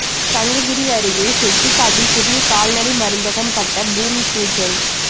சங்ககிரி அருகே செட்டிக்காட்டில் புதிய கால்நடை மருந்தகம் கட்ட பூமி பூஜை